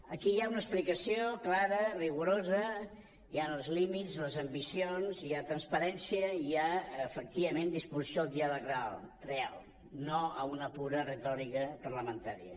aquí hi ha una explicació clara rigorosa hi han els límits les ambicions hi ha transparència i hi ha efectivament disposició al diàleg real no a una pura retòrica parlamentària